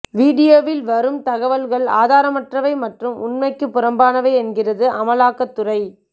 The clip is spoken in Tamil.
வீடியோவில் வரும் தகவல்கள் ஆதாரமற்றவை மற்றும் உண்மைக்குப் புறம்பானவை என்கிறது அமலாக்கத்துறை